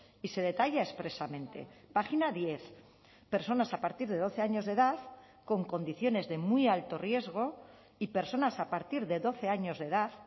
y se detalla expresamente página diez personas a partir de doce años de edad con condiciones de muy alto riesgo y personas a partir de doce años de edad